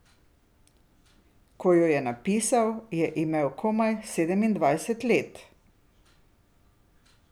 Ko jo je napisal, je imel komaj sedemindvajset let.